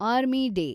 army day